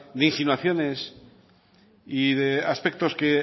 de insinuaciones y de aspectos que